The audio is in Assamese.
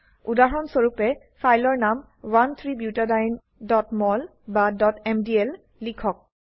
উদাহৰণস্বৰুপে ফাইলৰ নাম 13butadieneমল বা mdl লিখক